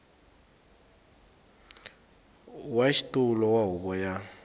wa xitulu wa huvo ya